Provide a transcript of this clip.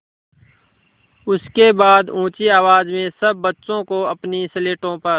उसके बाद ऊँची आवाज़ में सब बच्चों को अपनी स्लेटों पर